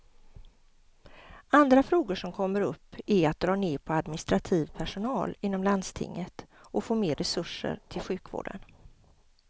Andra frågor som kommer upp är att dra ner på administrativ personal inom landstinget och få mer resurser till sjukvården.